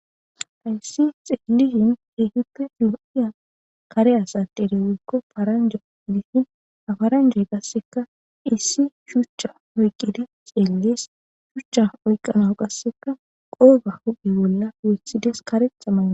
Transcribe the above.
Ayssi xeelishin teehuppe fi'iya kare asa derewekko faranja udifin afaranjoy gasseka issi shuchcha oyqqidi xeellees shuchcha oyqanao qasseka qooga hude bolla weethides karetha maa.